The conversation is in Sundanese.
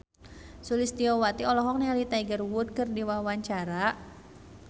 Sulistyowati olohok ningali Tiger Wood keur diwawancara